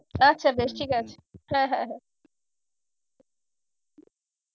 আচ্ছা বেশ ঠিক আছে হ্যাঁ হ্যাঁ হ্যাঁ